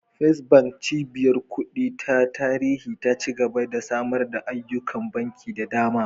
First Bank, cibiyar kuɗi ta tarihi ta ci gaba da samar da ayyukan banki da dama.